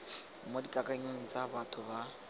mo dikakanyong tsa batho ba